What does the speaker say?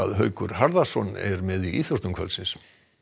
Haukur Harðarson er með í íþróttum kvöldsins